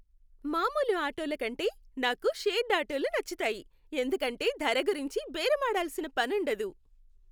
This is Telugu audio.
మామూలు ఆటోల కంటే, నాకు షేర్డ్ ఆటోలు నచ్చుతాయి, ఎందుకంటే ధర గురించి బేరమాడాల్సిన పనుండదు.